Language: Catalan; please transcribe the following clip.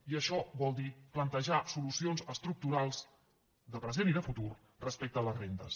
i això vol dir plantejar solucions estructurals de present i de futur respecte a les rendes